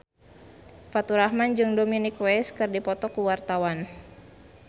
Faturrahman jeung Dominic West keur dipoto ku wartawan